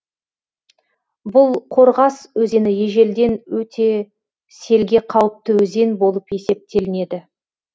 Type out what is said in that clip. бұл қорғас өзені ежелден өте селге қауіпті өзен болып есептелінеді